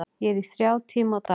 Ég er í þrjá tíma á dag.